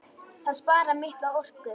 Það sparar mikla orku.